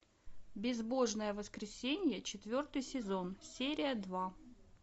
безбожное воскресенье четвертый сезон серия два